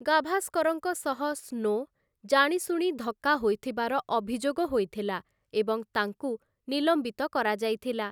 ଗାଭାସ୍କରଙ୍କ ସହ ସ୍ନୋ, ଜାଣିଶୁଣି ଧକ୍କା ହୋଇଥିବାର ଅଭିଯୋଗ ହୋଇଥିଲା ଏବଂ ତାଙ୍କୁ ନିଲମ୍ବିତ କରାଯାଇଥିଲା ।